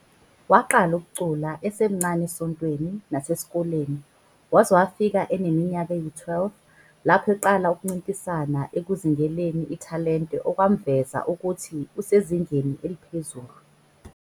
Waqala ukucula esemncane esontweni nasesikoleni waze wafika eneminyaka eyi-12 lapho eqala ukuncintisana ekuzingeleni ithalente okwamveza ukuthi usezingeni eliphezulu.